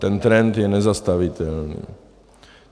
Ten trend je nezastavitelný.